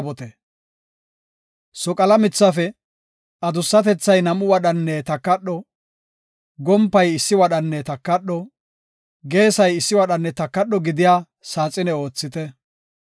“Soqala mithafe, adussatethay nam7u wadhanne takadho, gompay issi wadhanne takadho, geesay issi wadhanne takadho gidiya saaxine oothite.